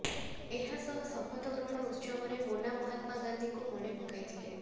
ଏହାସହ ଶପଥ ଗ୍ରହଣ ଉତ୍ସବରେ ମୋନା ମହାତ୍ମା ଗାନ୍ଧୀଙ୍କୁ ମନେ ପକାଇଥିଲେ